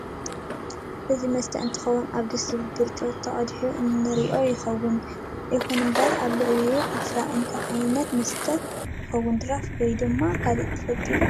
እዚ ዝስተ እ ንትከውን ኣብ ድስ ዝብል ብርጭቆ ተቀዲሕ እ ንትንርኢ ይኩን እንበር ኣብ ላዕሉ ዕፍር አሉ እንታይ ዓይነት መስተ ይውን ድራፍት ወይ ድማ ካል ትፈልጥዎ ዶ?